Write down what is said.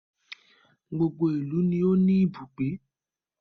Gbogbo ìlú ni o ni ibùgbé.